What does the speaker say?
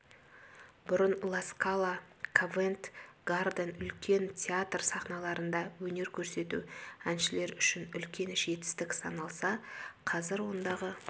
бұрын ла скала ковент-гарден үлкен театр сахналарында өнер көрсету әншілер үшін үлкен жетістік саналса қазір ондағы